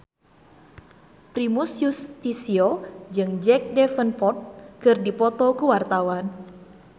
Primus Yustisio jeung Jack Davenport keur dipoto ku wartawan